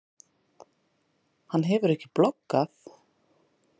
Hann hefur ekki bloggað?